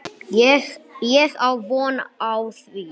Ég á von á því.